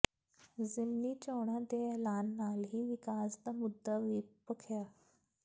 ਜ਼ਿਮਨੀ ਚੋਣਾਂ ਦੇ ਐਲਾਨ ਨਾਲ ਹੀ ਵਿਕਾਸ ਦਾ ਮੁੱਦਾ ਵੀ ਭਖਿਆ